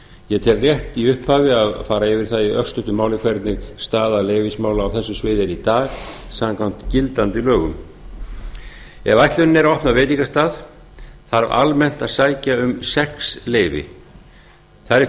ég tel rétt í upphafi að fara yfir það í örstuttu máli hvernig staða leyfismála á þessu sviði er í dag samkvæmt gildandi lögum ef ætlunin er að opna veitingastað þarf almennt að sækja um sex leyfi þar er